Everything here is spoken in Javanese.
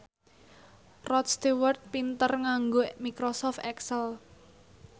Rod Stewart pinter nganggo microsoft excel